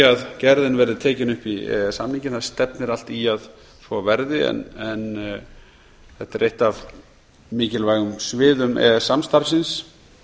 að gerðin verði tekin upp í e e s samninginn stefnir allt í að svo verði en þetta er eitt af mikilvægum sviðum e e s samstarfsins